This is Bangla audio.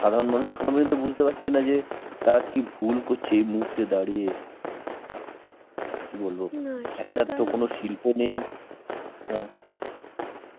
সাধারণ মানুষ এখনো পর্যন্ত বুঝতে পারছে না যে তারা কি ভুল করছে এই মুহূর্তে দাঁড়িয়ে কি বলব একটা তো কোন শিল্প নেই আহ